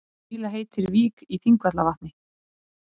Grýla heitir vík í Þingvallavatni.